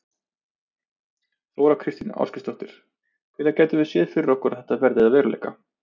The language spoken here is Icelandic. Þóra Kristín Ásgeirsdóttir: Hvenær getum við séð fyrir okkur að þetta verði að veruleika?